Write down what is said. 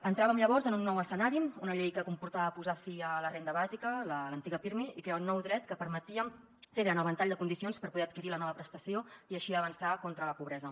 entràvem llavors en un nou escenari una llei que comportava posar fi a la renda bàsica l’antiga pirmi i crear un nou dret que permetia fer gran el ventall de condicions per poder adquirir la nova prestació i així avançar contra la pobresa